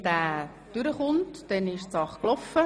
Wird dieser angenommen, ist die Sache erledigt.